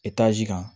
kan